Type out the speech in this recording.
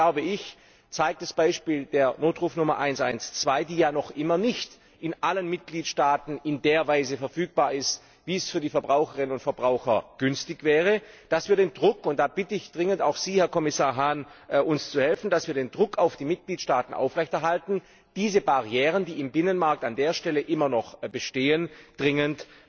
Deswegen zeigt das Beispiel der Notrufnummer 112, die ja noch immer nicht in allen Mitgliedstaaten in der Weise verfügbar ist, wie es für die Verbraucherinnen und Verbraucher günstig wäre, dass wir den Druck und da bitte ich dringend auch Sie, Herr Kommissar Hahn, uns zu helfen auf die Mitgliedstaaten aufrechterhalten müssen, diese Barrieren, die im Binnenmarkt an dieser Stelle immer noch bestehen, dringend